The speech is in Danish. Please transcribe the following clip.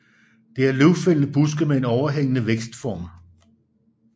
Det er løvfældende buske med en overhængende vækstform